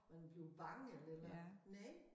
Man bliver bange eller et eller andet næ